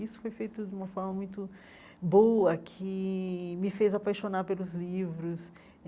Isso foi feito de uma forma muito boa, que me fez apaixonar pelos livros.